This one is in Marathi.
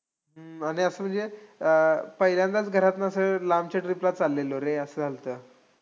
हम्म आणि असंय, पहिल्यांदाच घरातनं असं लांबच्या trip ला चाल्लेलो रे असं झाल्तं.